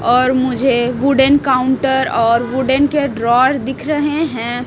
और मुझे wooden counter और हुडेन के ड्रार दिख रहे हैं।